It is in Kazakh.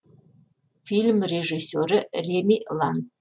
фильм режиссері реми лан